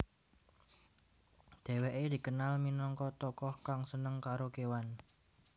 Dheweke dikenal minangka tokoh kang seneng karo kewan